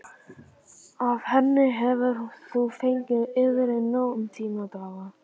Af henni hefur þú fengið yfrið nóg um þína daga.